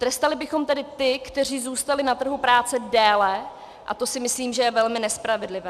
Trestali bychom tedy ty, kteří zůstali na trhu práce déle, a to si myslím, že je velmi nespravedlivé.